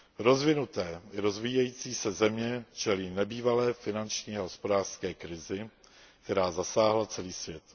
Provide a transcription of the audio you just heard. Rozvinuté i rozvíjející se země čelí nebývalé finanční a hospodářské krizi, která zasáhla celý svět.